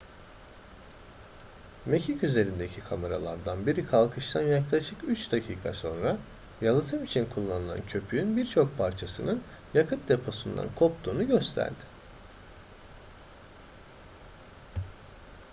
mekik üzerindeki kameralardan biri kalkıştan yaklaşık 3 dakika sonra yalıtım için kullanılan köpüğün birçok parçasının yakıt deposundan koptuğunu gösterdi